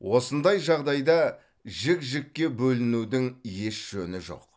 осындай жағдайда жік жікке бөлінудің еш жөні жоқ